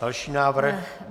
Další návrh.